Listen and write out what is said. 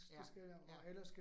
Ja, ja